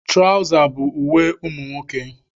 Traụza bụ uwe ụmụ nwoke.